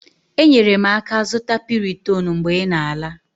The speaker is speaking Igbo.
Enyere m aka zụta Piriton mgbe ị na-ala.